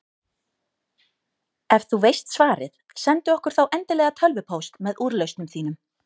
Ef þú veist svarið, sendu okkur þá endilega tölvupóst með úrlausnum þínum.